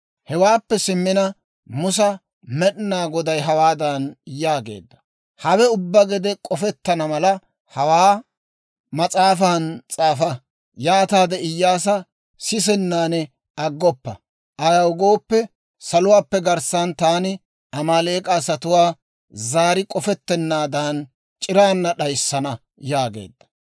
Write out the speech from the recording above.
Hewaappe simmina, Musa Med'inaa Goday hawaadan yaageedda; «Hawe ubbaa gede k'ofettana mala hawaa mas'aafan s'aafa. Yaataade Iyyaasa sissennan aggoppa; ayaw gooppe, saluwaappe garssan taani Amaaleek'a asatuwaa zaari k'ofetenaadan c'iraana d'ayssana» yaageedda.